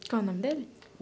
Qual o nome dele?